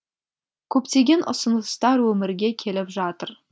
көптеген ұсыныстар өмірге келіп жатыр